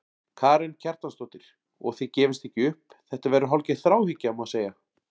Karen Kjartansdóttir: Og þið gefist ekki upp, þetta verður hálfgerð þráhyggja, má segja?